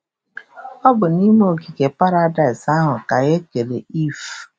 Ọ bụ n’ime ogige paradaịs ahụ ka e kere Ivv